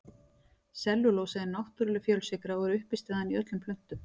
Sellulósi er náttúrleg fjölsykra og er uppistaðan í öllum plöntum.